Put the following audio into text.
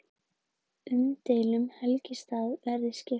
Umdeildum helgistað verði skipt